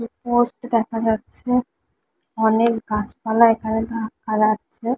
একটি পোস্ট দেখা যাচ্ছে অনেক গাছপালা এখানে ধাক্কা লাগছে।